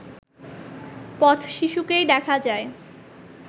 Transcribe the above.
পথ-শিশুকেই দেখা যায়